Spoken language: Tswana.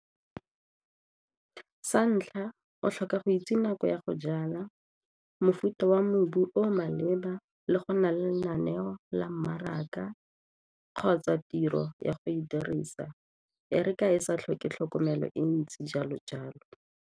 Sa ntlha, o tlhoka go itse nako ya go jala, mofuta wa mobu o o maleba le go nna le lenaneo la mmaraka kgotsa tiro ya go e dirisa e re ka e sa tlhoke tlhokomelo e ntsi jalo-jalo.